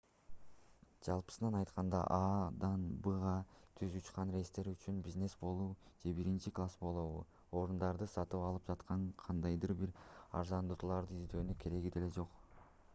жалпысынан айтканда а-дан б-га түз учкан рейстер үчүн бизнес болобу же биринчи класс болобу орундуктарды сатып алып жатканда кандайдыр бир арзандатууларды издөөнүн кереги деле жок